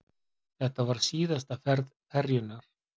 Þetta var síðasta ferð ferjunnar